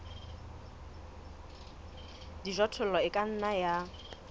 dijothollo e ka nna ya